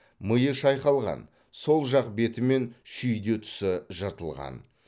миы шайқалған сол жақ беті мен шүйде тұсы жыртылған